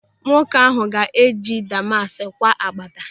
Nwoke ahụ ga eji damask kwaa agbada.